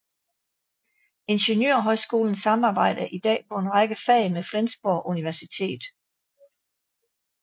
Ingeniørhøjskolen samarbejder i dag på en række fag med Flensborg Universitet